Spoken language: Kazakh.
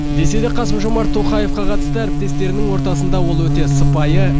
десе де қасым жомарт тоқаевқа қатысты әріптестерінің ортасында ол өте сыпайы